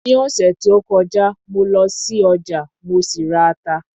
Ní ọ̀sẹ̀ tí ó kọjá mo lọ sí ọjà, mo sì ra ata